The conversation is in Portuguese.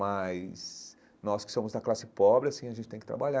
Mas nós que somos da classe pobre assim, a gente tem que trabalhar.